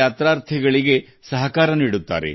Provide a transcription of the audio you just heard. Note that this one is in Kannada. ಯಾತ್ರಾರ್ಥಿಗಳೊಂದಿಗೆ ಸಹಕರಿಸುತ್ತಾರೆ